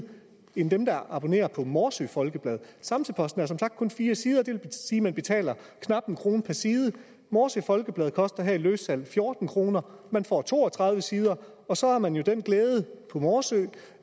end dem der abonnerer på morsø folkeblad samsø posten er som sagt kun på fire sider det vil sige at man betaler knap en kroner per side morsø folkeblad koster i løssalg fjorten kroner man får to og tredive sider og så har man jo den glæde i morsø